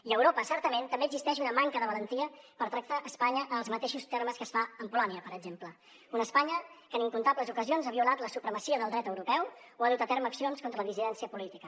i a europa certament també existeix una manca de valentia per tractar espanya en els mateixos termes que es fa amb polònia per exemple una espanya que en incomptables ocasions ha violat la supremacia del dret europeu o ha dut a terme accions contra la dissidència política